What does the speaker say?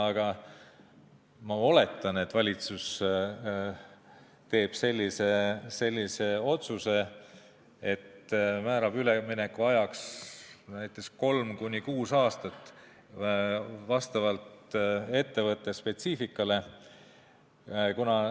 Aga ma oletan, et valitsus teeb sellise otsuse, et määrab üleminekuajaks näiteks 3–6 aastat, vastavalt ettevõtte spetsiifikale.